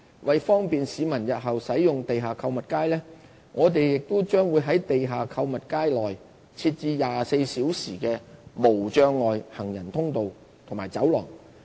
為方便市民日後使用地下購物街，我們將在地下購物街內設置24小時的無障礙行人通道和走廊。